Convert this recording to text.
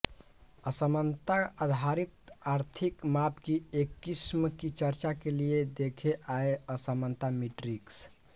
असमानता आधारित आर्थिक माप की एक किस्म की चर्चा के लिए देखें आय असमानता मीट्रिक्स